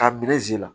K'a birezi la